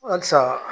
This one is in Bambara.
Halisa